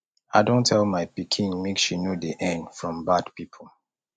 i don tell my pikin make she no dey earn from bad people